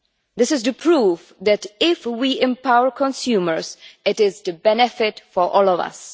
This is to prove that, if we empower consumers, it is to benefit all of us.